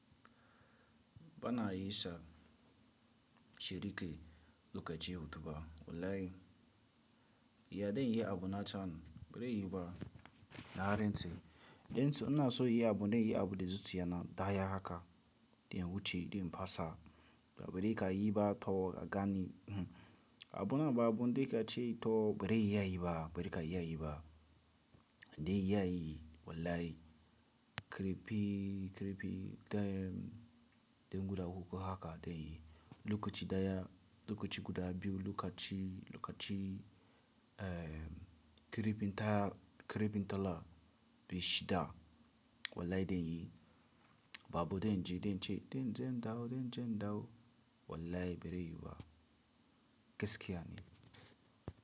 Bana iya isa shirike lokaci ya mutu ba. Wallahi, ya dan yi abun na can bari yiba na rantse. Ina so in yi abu zan yi abu da zuciya na daya haka, dai wuce dai fasa ba bari ka yi ba to ka gani. Abu na ba abu dai ka ce to bari ya yi ba bari ka iya yi ba dai ya yi wallahi kirifi kirifi dai dan guda uku haka dai lukaci daya lukaci guda biyu lukaci lukaci kirifin tara kirifin talla biyu shida wallahi dai yi babu dai in ji dai in ce dai in ji in dawo dai in ji in dawo wallahi bari yiba gaskiya ne.